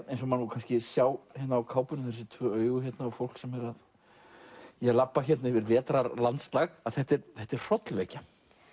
eins og má kannski sjá á kápunni þessi tvö augu hérna og fólk sem er að labba hérna yfir að þetta er þetta er hrollvekja